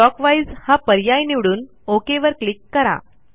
clockwise हा पर्याय निवडून ओक वर क्लिक करा